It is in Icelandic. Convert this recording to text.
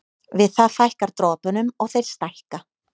Við það fækkar dropunum og þeir stækka.